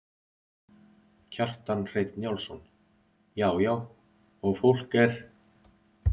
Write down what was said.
Kjartan Hreinn Njálsson: Já já og fólk er?